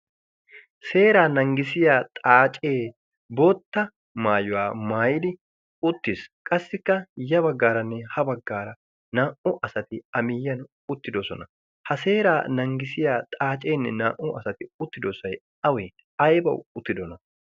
Seeraa naaggisiya xaacee bootta maayuwaa maaidi uttiis qassikka ya baggaaranne ha baggaara naa77u asati a miyyiyan uttidosona ha seeraa nanggisiya xaaceenne naa'u asati uttidosy awee? aybawu uttidona?